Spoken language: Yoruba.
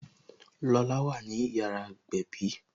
Lola wà ní yàrá ìgbẹ̀bí